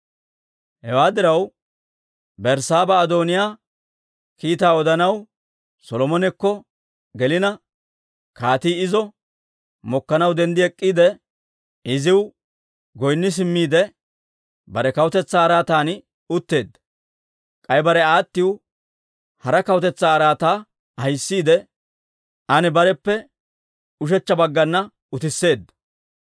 Hewaa diraw, Berssaaba Adooniyaa kiitaa odanaw Solomonekko gelina, kaatii izo mokkanaw denddi ek'k'iide, iziw goynni simmiide bare kawutetsaa araatan utteedda. K'ay bare aattiw hara kawutetsaa araataa ahissiide, an bareppe ushechcha baggana utisseedda.